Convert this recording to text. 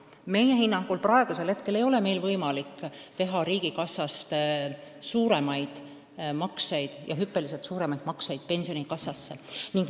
Meie hinnangul ei ole meil praegu võimalik teha riigikassast hüppeliselt suuremaid makseid pensionikassasse.